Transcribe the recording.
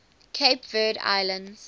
cape verde islands